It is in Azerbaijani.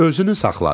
Özünü saxladı.